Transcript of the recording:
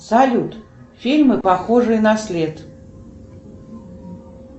салют фильмы похожие на след